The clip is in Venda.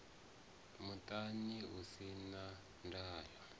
muṱani u si na ndayo